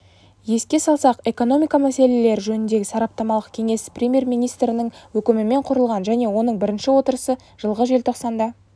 еске салсақ экономика мәселелері жөніндегі сараптамалық кеңес премьер-министрінің өкімімен құрылған және оның бірінші отырысы жылғы желтоқсанда